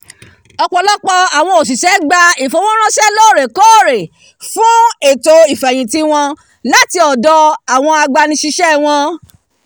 ọ̀pọ̀lọpọ̀ awọn òṣìṣẹ́ gba ifowóránṣẹ́ lórèkóòrè fún ètò ìfẹ̀yìntì wọn láti ọ̀dọ̀ agbanisise wọn